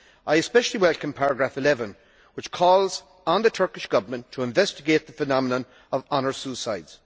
I especially welcome paragraph 11 which calls on the Turkish Government to investigate the phenomenon of honour suicides.